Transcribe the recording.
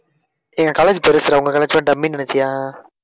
டேய் என் college பெருசுடா உங்க college மாதிரி டம்மின்னு நினைச்சியா?